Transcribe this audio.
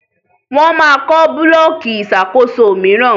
wón má kó Búlọ̀kì Ìṣàkóso míràn.